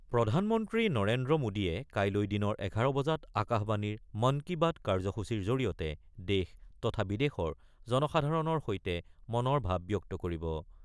প্ৰধানমন্ত্ৰী নৰেন্দ্ৰ মোদীয়ে কাইলৈ দিনৰ এঘাৰ বজাত আকাশবাণীৰ মন কি বাত কাৰ্যসূচীৰ জৰিয়তে দেশ তথা বিদেশৰ জনসাধাৰণৰ সৈতে মনৰ ভাৱ ব্যক্ত কৰিব।